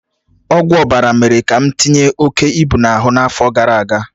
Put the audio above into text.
Ọgwụ ọbara mere ka m tinye oke ibu n'ahụ n'afọ gara aga